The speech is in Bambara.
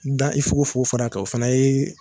N da i foko foko fana kan o fana yee